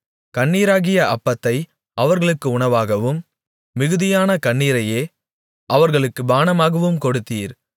கண்ணீராகிய அப்பத்தை அவர்களுக்கு உணவாகவும் மிகுதியான கண்ணீரையே அவர்களுக்குப் பானமாகவும் கொடுத்தீர்